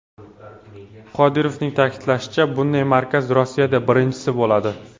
Qodirovning ta’kidlashicha, bunday markaz Rossiyada birinchisi bo‘ladi.